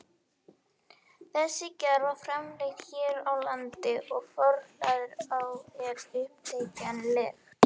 Þessi gerð er framleidd hér á landi og forhlaðið er auðþekkjanlegt.